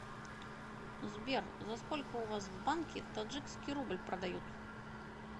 сбер за сколько у вас в банке таджикский рубль продают